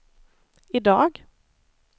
idag